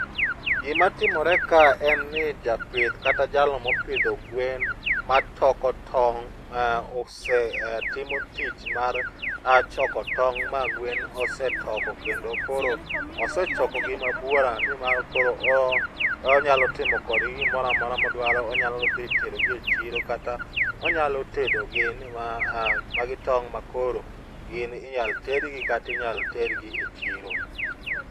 gima timore ka en ni jaoith kata jalno mopidho gwen matoko tong' timo tich mar toko tong' ma gwen osetoko kendo koro osechoko gi ma buora ni ma koro onyalo timo kodgi gimoro amora modwaro, onyal dhi tero gi e chiro kata onyalo tedo gi, magi tong ma koro gin inyalo ted gi kata inyalo ter gi e chiro